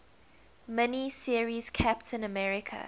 mini series captain america